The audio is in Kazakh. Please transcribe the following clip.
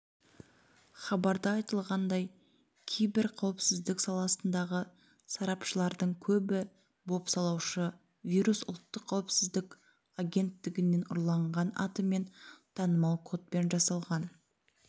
хабарда айтылғандай кибер қауіпсіздік саласындағы сарапшылардің көбі бопсалаушы-вирус ұлттық қауіпсіздік агенттігінен ұрланған атымен танымал кодпен жасалған